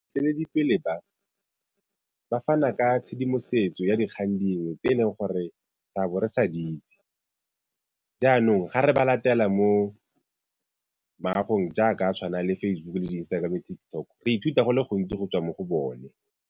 ba, ba fana ka tshedimosetso ya dikgang dingwe tse e leng gore re a bo re sa di itse jaanong ga re ba latela mo jaaka a tshwana le Facebook-u le Instagram-o le TikTok, re ithuta go le go ntsi go tswa mo go bone.